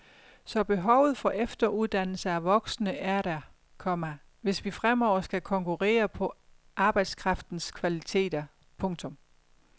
Så behovet for efteruddannelse af voksne er der, komma hvis vi fremover skal konkurrere på arbejdskraftens kvaliteter. punktum